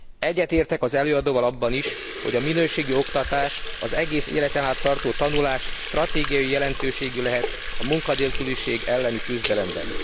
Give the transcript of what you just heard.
Egyetértek az előadóval abban is, hogy a minőségi oktatás, az egész életen át tartó tanulás stratégiai jelentőségű lehet a munkanélküliség elleni küzdelemben.